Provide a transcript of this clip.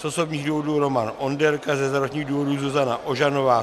Z osobních důvodů Roman Onderka, ze zdravotních důvodů Zuzana Ožanová.